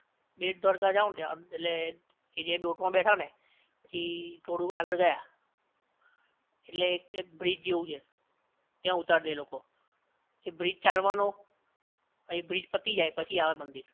બેટ દ્વારકા જાવ ને ત્યાં ઍટલે એ જે બોટ માં બેઠો ને, થી થોડું આગળ ગયા ઍટલે એક બ્રિજ જેવુ છે ત્યાં ઉતાર દે એ લોકો ત્યાં ઉતાર દે એ લોકો પછી એ ચાલવાનો એ બ્રિજ પતિ જાય પછી આવે મંદિર